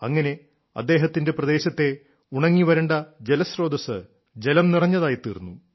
അങ്ങനെ അദ്ദേഹത്തിന്റെ പ്രദേശത്തെ ഉണങ്ങിവരണ്ട ജലസ്രോതസ്സ് ജലം നിറഞ്ഞതായിത്തീർന്നു